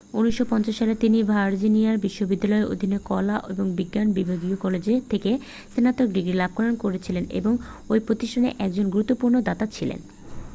1950 সালে তিনি ভার্জিনিয়া বিশ্ববিদ্যালয়ের অধীনে কলা ও বিজ্ঞান বিভাগীয় কলেজ থেকে স্নাতক ডিগ্রি লাভ করেছিলেন এবং ওই প্রতিষ্ঠানের একজন গুরুত্বপূর্ণ দাতা ছিলেন